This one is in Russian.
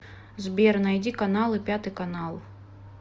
сбер найди каналы пятый канал